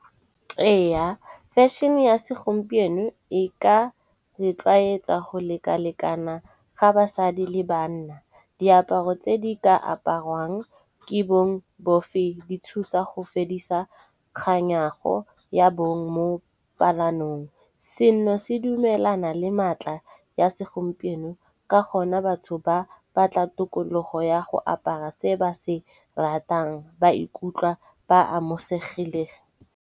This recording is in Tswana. Eya, fashion-e ya segompieno e ka re tlwayetsa go lekalekana ga basadi le banna. Diaparo tse di ka aparwang ke bong bofe di thusa go fedisa kganyago ya bong mo palanong. Seno se dumelana le matla ya segompieno ka gona batho ba batla tokologo ya go apara se ba se ratang ba ikutlwa ba amosegileng.